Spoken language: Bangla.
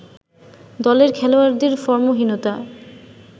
দলের খেলোয়াড়দের ফর্মহীনতা